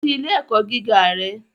Lọ si ile-ẹkọ giga rẹ